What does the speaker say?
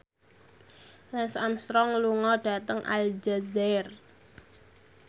Lance Armstrong lunga dhateng Aljazair